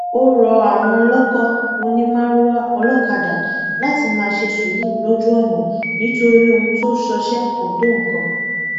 ó rọ àwọn olóko onímàrúwá olókadá láti máa ṣe sùúrù lójú ọnà nítorí ohun tó ń ṣọṣẹ kò tó nǹkan